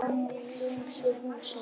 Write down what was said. Við sálmasöng hússins.